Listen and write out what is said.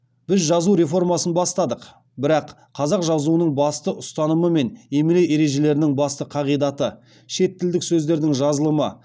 біз жазу реформасын бастадық бірақ қазақ жазуының басты ұстанымы мен емле ережелерінің басты қағидаты